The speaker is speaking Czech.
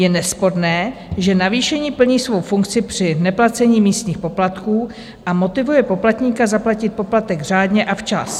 Je nesporné, že navýšení plní svou funkci při neplacení místních poplatků a motivuje poplatníka zaplatit poplatek řádně a včas.